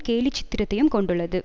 கேலி சித்திரத்தையும் கொண்டுள்ளது